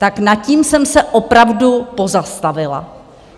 Tak nad tím jsem se opravdu pozastavila.